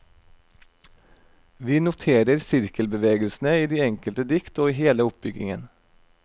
Vi noterer sirkelbevegelsene i de enkelte dikt og i hele oppbygningen.